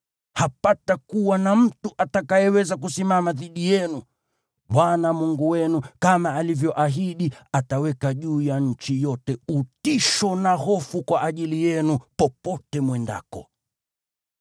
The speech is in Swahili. Hapatakuwa na mtu atakayeweza kusimama dhidi yenu. Bwana Mungu wenu, kama alivyoahidi, ataweka juu ya nchi yote utisho na hofu kwa ajili yenu popote mwendako.